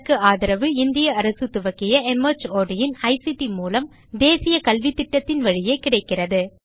இதற்கு ஆதரவு இந்திய அரசு துவக்கிய மார்ட் இன் ஐசிடி மூலம் தேசிய கல்வித்திட்டத்தின் வழியே கிடைக்கிறது